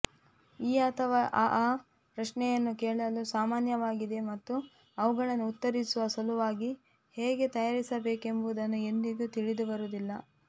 ಈ ಅಥವಾ ಆ ಪ್ರಶ್ನೆಯನ್ನು ಕೇಳಲು ಸಾಮಾನ್ಯವಾಗಿದೆ ಮತ್ತು ಅವುಗಳನ್ನು ಉತ್ತರಿಸುವ ಸಲುವಾಗಿ ಹೇಗೆ ತಯಾರಿಸಬೇಕೆಂಬುದನ್ನು ಎಂದಿಗೂ ತಿಳಿದಿರುವುದಿಲ್ಲ